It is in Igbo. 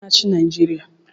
Kedu onye na-achị Naijiria?